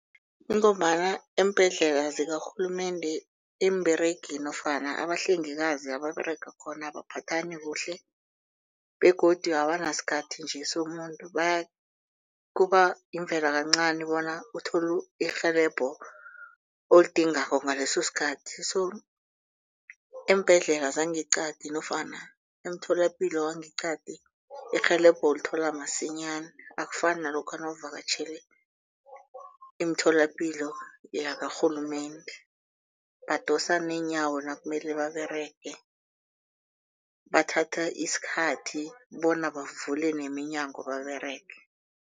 Ingombana eembhedlela zikarhulumende iimberegi nofana abahlengikazi ababerega khona abaphathani kuhle begodu abanasikhathi nje somuntu. Kuba yimvelo kancani bona uthole irhelebho olidingako ngaleso sikhathi. So eembhedlela zangeqadi nofana emtholapilo wangeqadi irhelebho ulithola masinyana akufani nalokha bawuvakatjhele emitholapilo yakarhulumende. Badosa neenyawo nakumele baberege. Bathatha isikhathi bona bavule neminyango baberege.